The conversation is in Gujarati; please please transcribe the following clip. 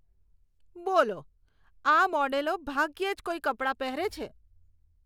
બોલો! આ મોડેલો ભાગ્યે જ કોઈ કપડાં પહેરે છે.